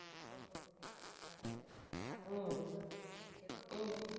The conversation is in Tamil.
Okay okay bye பாரு பாத்துட்டு என்னனு சொல்லு okay வா.